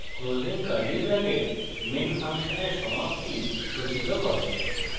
closing curly bracket main ফাংশনের সমাপ্তি সূচিত করে